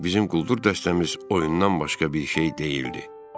Bizim quldur dəstəmiz oyundan başqa bir şey deyildi.